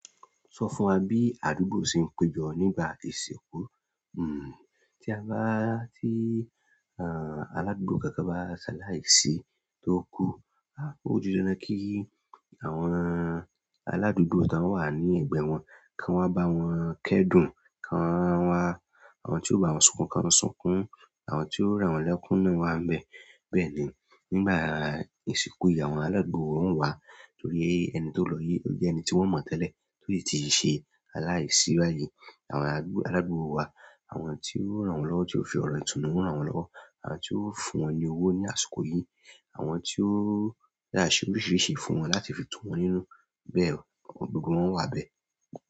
Sọ fún wa bí àdúgbò ṣe ń péjọ nígbà àti ìsìnkú? Hmm, tí a bá, tí, ah, aládùúgbò kankan bá ṣaláì sì tó kú, ah, ó di dandan kí àwọn aládùúgbò tó wà ní ẹ̀gbẹ́ wọn, kí wọ́n bá wọn kẹ́dùn, kí wọ́n wá, àwọn tí ó bá wọn sunkún kí wọ́n sunkún, àwọn tí ó ràn wọ́n lẹ́kún náà wá ń bẹ. Bẹ́ẹ̀ ni, nígbà ìsìnkú ìyàwó aládùúgbò wa, torí ẹni tó lọ yìí jẹ́ ẹni tí wọ́n mọ̀ tẹ́lẹ̀ to si ti ṣe aláìsí báyìí. Àwọn aládùúgbò wa, àwọn tí ó ràn wọ́n lọ́wọ́ tí ó fi ọrọ̀ itunù n rán wọ́n lọ́wọ́, àwọn tí ó fún wọn ní owó ní àsìkò yìí, àwọn tí ó yá aṣọ oríṣiríṣi fún wọn láti fi tún wọ́n nínú. Bẹ́ẹ̀ o, àwọn gbogbo wọn wà bẹ́ẹ̀.